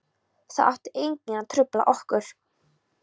Það átti enginn að trufla okkur.